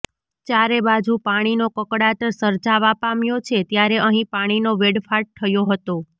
ચારે બાજુ પાણીનો કકળાટ સર્જાવા પામ્યો છે ત્યારે અહીં પાણીનો વેડફાટ થયો હતો